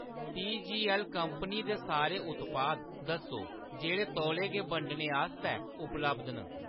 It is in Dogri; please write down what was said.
टीजीऐल्ल कंपनी दे सारे उत्पाद दस्सो जेह्‌ड़े तौले गै बंडने आस्तै उपलब्ध न।